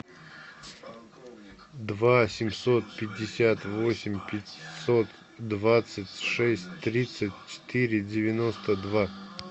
два семьсот пятьдесят восемь пятьсот двадцать шесть тридцать четыре девяносто два